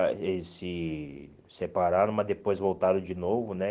ah Eles se separaram, mas depois voltaram de novo, né?